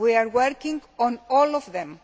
We are working on all of them.